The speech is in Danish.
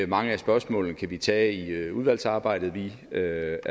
mange af spørgsmålene kan vi tage i udvalgsarbejdet vi er